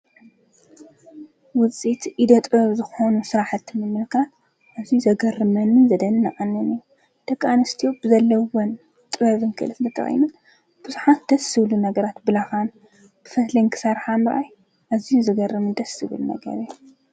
ውፂኢት ኢደ ጥበብ ዝኾኑ ሥራሕቲ ንምርካብ እዙዩ እዩ ዘገርመኒንን ዘደንቀንን ኣዝየን ብዙሓት ደቂ ኣንስትዮ ዘለወን ጥበብን ክልሊ ተጠቂመን ብዙሓን ደስዝብሉ ነገራት ብላኻን ብፈትልን ንክሳርሓ ምራይ ኣዙይ ዘገርምን ደስ ዝብል ነገር እየ።